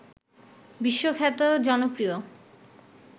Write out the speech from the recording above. বিশ্বখ্যাত জনপ্রিয়